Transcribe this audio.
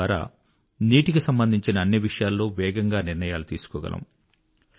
దీనిద్వారా నీటికి సంబంధించిన అన్ని విషయాల్లో వేగంగా నిర్ణయాలు తీసుకోగలము